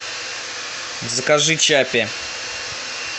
закажи чаппи